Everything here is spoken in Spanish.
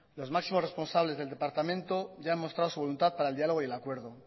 los máximos responsables del departamento ya han mostrado su voluntad para el diálogo y el acuerdo